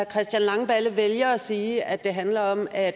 christian langballe vælger at sige at det handler om at